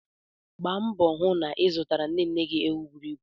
Gba mboo hụ na ị zụtara nne nne gị ewu buru ibu!